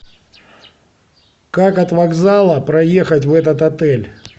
как от вокзала проехать в этот отель